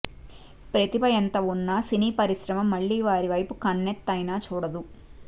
ప్రతిభ ఎంత ఉన్న సినీ పరిశ్రమ మళ్లీ వారివైపు కన్నెత్తైనా చూడదు